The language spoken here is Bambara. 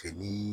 Fini